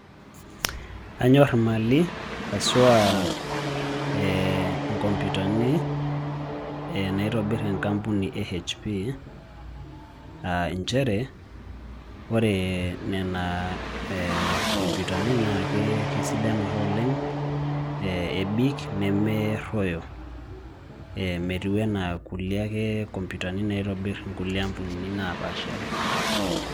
Anyorr imali, haswa eeh inkomputani, naitobirr enkampuni ee HP aa inchere, wore niana eeh nkoomputani naa keisidan ake oleng' eh ebik nemerroyo, metiui enaa kulie ake komputani naitobirr inkulie ampunini napaasha.